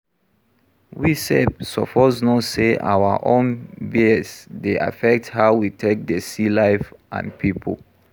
We sef suppose know sey our own bias dey affect how we take dey see life and pipo